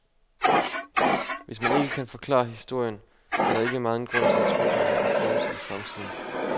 Hvis man ikke kan forklare historien, er der ikke megen grund til at tro på, at man kan forudsige fremtiden.